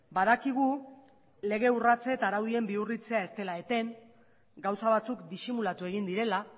badakigu lege urratsa eta araudien bihurritzea ez dela eten gauza batzuk disimulatu egin direla